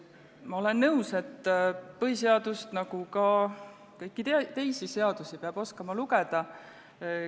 Ma olen nõus, et põhiseadust nagu ka kõiki teisi seadusi peab oskama lugeda.